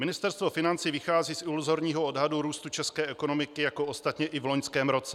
Ministerstvo financí vychází z iluzorního odhadu růstu české ekonomiky, jako ostatně i v loňském roce.